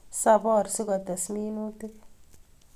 Sapor sikotes minutik